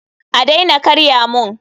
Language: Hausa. A daina karya mun!